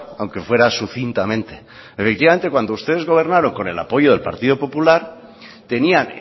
aunque fuera sucintamente efectivamente cuando ustedes gobernaron con el apoyo del partido popular tenían